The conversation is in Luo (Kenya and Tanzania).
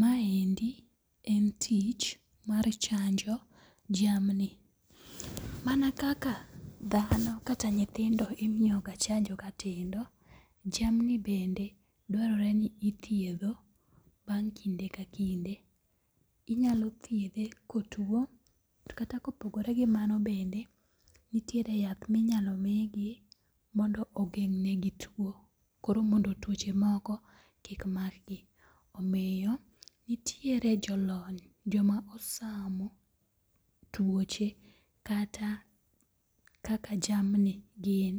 Maendi en tich mar chanjo jamni. Mana kaka dhano kata nyithindo imiyo ga chanjo ka tindo, jamni bende dwarore ni ithiedho bang' kinde ka kinde. Inyalo thiedhe kotuo kata kopogore gi mano bende, nitiere yath minyalo migi mondo ogeng'negi tuo koro mondo tuoche moko kikmakgi. Omiyo nitiere jolony joma osamo tuoche kata kaka jamni gin.